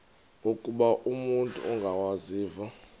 ukuba umut ongawazivo